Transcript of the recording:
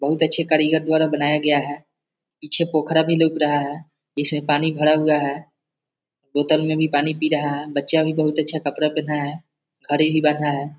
बहुत अच्छा कारीगर द्वारा बनाया गया है पीछे पोखरा भी लौक रहा है जिसमें पानी भरा हुआ है बोतल मे भी पानी पी रहा है बच्चा भी बहुत अच्छा कपड़ा पेहना है घड़ी भी बंधा है।